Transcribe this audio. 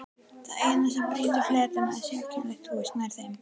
Það eina sem brýtur fletina er sérkennilegt hús nær þeim.